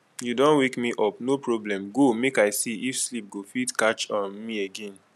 you don wake me up no problem go make i see if sleep go fit catch um me again